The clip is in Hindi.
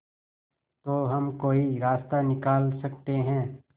तो हम कोई रास्ता निकाल सकते है